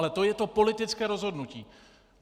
Ale to je to politické rozhodnutí.